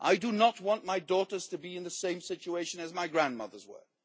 I do not want my daughters to be in the same situation as my grandmothers were.